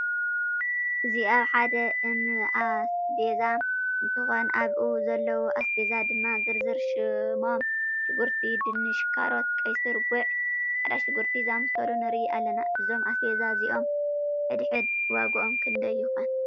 እዚ ኣብ ሓደ እንኣስቤዛ እንትኮን ኣብኡ ዘለዉ ኣስቤዛ ድማ ዝርዝር ሽሞም ሽጉርቲ፣ ድንሽ፣ ካሮት ፣ቀስር ፣ጉዕ፣ ፃዕዳ ሽጉርቲ ዝኣምሳሰሉ ንርኢ ኣለና። እዞም ኣስቤዛ እዚኦም ሕድሕድ ዋግኦም ክንዳይ ይኮን?